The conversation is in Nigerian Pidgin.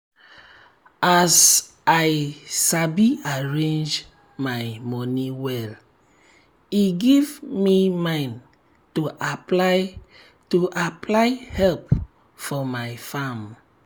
as i sabi arrange my moni well e give me mind to apply to apply help for my farm